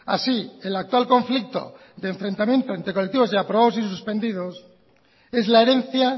así el actual conflicto de enfrentamiento entre colectivos de aprobados y suspendidos es la herencia